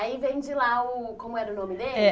Aí vem de lá o... como era o nome dele? É